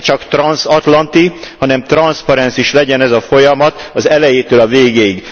Ne csak transzatlanti, hanem transzparens is legyen ez a folyamat az elejétől a végéig.